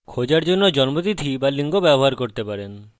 আপনি কোনো একটি ব্যবহার করতে পারেন উদাহরণস্বরূপ খোঁজার জন্য জন্মতিথি বা লিঙ্গ